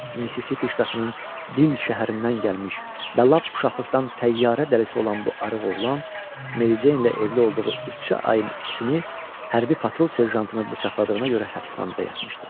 Missisipi ştatının Dil şəhərindən gəlmiş, bəlab uşaqlıqdan təyyarə dəlisi olan bu arıq oğlan, Mary Jane ilə evli olduğu üç ayın ikisini hərbi patrul serjantını bıçaqladığına görə həbsxanada yatmışdı.